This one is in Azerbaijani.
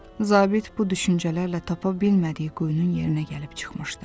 Zabit bu düşüncələrlə tapa bilmədiyi quyunun yerinə gəlib çıxmışdı.